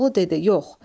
Koroğlu dedi: Yox.